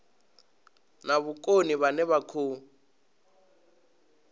na vhukoni vhane vha khou